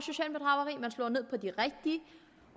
slå ned på de rigtige